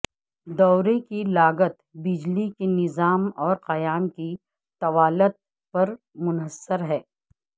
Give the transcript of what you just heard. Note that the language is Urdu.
دورے کی لاگت بجلی کے نظام اور قیام کی طوالت پر منحصر ہے